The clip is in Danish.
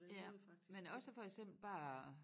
Ja men også for eksempel bare